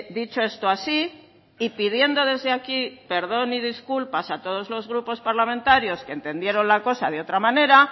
dicho esto así y pidiendo desde aquí perdón y disculpas a todos los grupos parlamentarios que entendieron la cosa de otra manera